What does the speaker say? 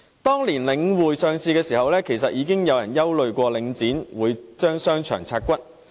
當年領匯上市時，已經有人憂慮領匯會將商場"拆骨"。